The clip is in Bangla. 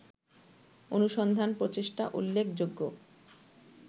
অনুসন্ধান-প্রচেষ্টা উল্লেখযোগ্য